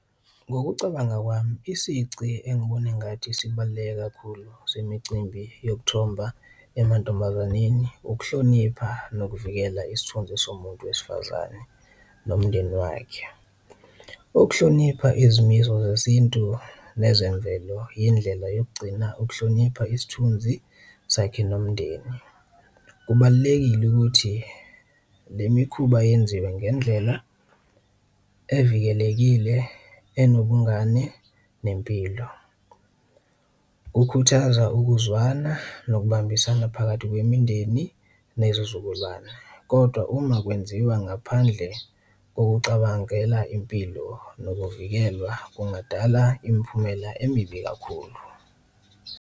Ngokucabanga kwami isici engibona engathi sibaluleke kakhulu semicimbi yokuthoba emantombazaneni ukuhlonipha nokuvikela isithunzi somuntu wesifazane nomndeni wakhe, ukuhlonipha izimiso zesintu nezemvelo yindlela yokugcina ukuhlonipha isithunzi sakhe nomndeni. Kubalulekile ukuthi le mikhuba yenziwe ngendlela evikelekile, enobungani, nempilo, kukhuthaza ukuzwana nokubambisana phakathi kwemindeni nezizukulwane kodwa uma kwenziwa ngaphandle kokucabangela impilo nokuvikelwa kungadala imphumela emibi kakhulu.